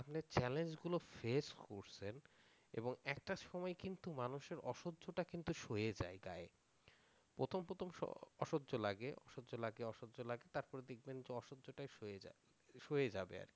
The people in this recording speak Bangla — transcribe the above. আপনি challenge গুলো ফেস করছেন এবং একটা সময় কিন্তু মানুষের অসহ্যটা কিন্তু সয়ে যায় গায়ে প্রথম প্রথম সব অসহ্য লাগে অসহ্য লাগে অসহ্য লাগে তারপর দেখবেন যে অসহ্য তাই সয়ে যায় সয়ে যাবে আর কি।